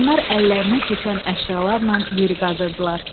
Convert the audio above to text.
Onlar əllərinə keçən əşyalarla yeri qazırdılar.